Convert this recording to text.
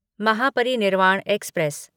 Mahaparinirvan express